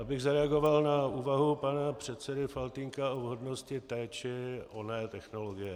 Abych zareagoval na úvahu pana předsedy Faltýnka o vhodnosti té či oné technologie.